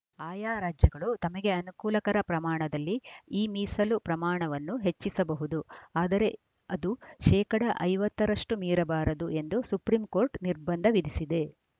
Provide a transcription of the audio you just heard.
ಆಯಾ ರಾಜ್ಯಗಳು ತಮಗೆ ಅನುಕೂಲಕರ ಪ್ರಮಾಣದಲ್ಲಿ ಈ ಮೀಸಲು ಪ್ರಮಾಣವನ್ನು ಹೆಚ್ಚಿಸಬಹುದು ಆದರೆ ಅದು ಶೇಕಡಾ ಐವತ್ತ ರಷ್ಟುಮೀರಬಾರದು ಎಂದು ಸುಪ್ರೀಂಕೋರ್ಟ್‌ ನಿರ್ಬಂಧ ವಿಧಿಸಿದೆ